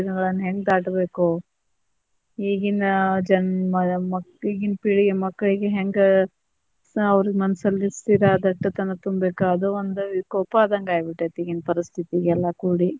ಈಗಿನ ದಿನಗಳನ್ನ ಹೆಂಗ ದಾಟಬೇಕೋ, ಈಗಿನ ಜನ್ಮ ಮಕ್ಳಿಗೆ ಈಗಿನ ಪೀಳಿಗೆ ಮಕ್ಳಿಗೆ ಹೆಂಗ ಅವ್ರ ಮನಸಲ್ಲಿ ಸ್ಥಿರ ದಟ್ಟತನಾ ತುಂಬೇಕ, ಅದ ಒಂದ ವಿಕೋಪ ಆದಂಗ ಆಗ್ಬಿಟ್ಟೆತಿ ಈಗಿನ ಪರಿಸ್ಥಿತಿಗೆ ಎಲ್ಲಾ ಕೂಡಿ.